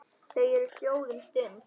Þau eru hljóð um stund.